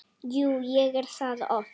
Jú, ég er það oft.